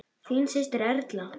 Þín systir, Erla.